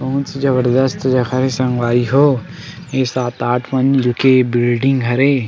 बहुत जबरदस्त जगह हे संगवारी हो ए सात आठ मंजिल के बिल्डिंग हरे ।